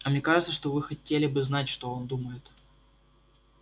а мне кажется вы хотели бы знать что он думает